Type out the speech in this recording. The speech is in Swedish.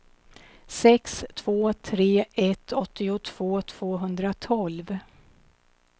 sex två tre ett åttiotvå tvåhundratolv